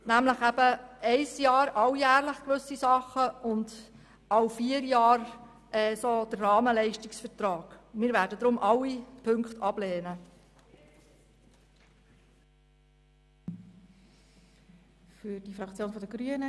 Gewisse Verträge werden alljährlich abgeschlossen, und in anderen Bereichen bestehen vierjährige Rahmenleistungsverträge.